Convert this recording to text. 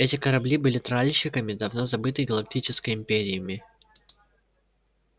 эти корабли были тральщиками давно забытой галактической империи